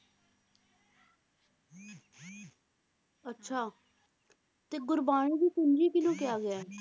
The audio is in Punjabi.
ਅੱਛਾ ਤੇ ਗੁਰਬਾਣੀ ਦੀ ਪੂੰਜੀ ਕਿਹਨੂੰ ਕਿਹਾ ਗਿਆ ਹੈ?